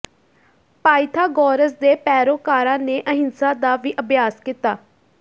Pythagoras ਦੇ ਪੈਰੋਕਾਰਾਂ ਨੇ ਅਹਿੰਸਾ ਦਾ ਵੀ ਅਭਿਆਸ ਕੀਤਾ